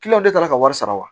ne taara ka wari sara wa